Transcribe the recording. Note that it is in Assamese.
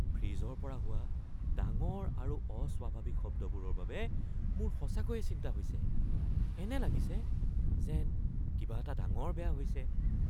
ফ্ৰিজৰ পৰা হোৱা ডাঙৰ আৰু অস্বাভাৱিক শব্দবোৰৰ বাবে মোৰ সঁচাকৈয়ে চিন্তা হৈছে, এনে লাগিছে যেন কিবা এটা ডাঙৰ বেয়া হৈছে।